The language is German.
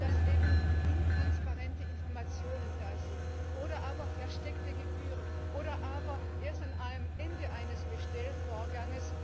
dass eben intransparente Informationen da sind oder aber versteckte Gebühren oder aber, dass das Unternehmen erst am Ende eines Bestellvorgangs